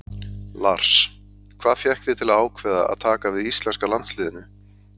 Lars: Hvað fékk þig til að ákveða að taka við íslenska landsliðinu?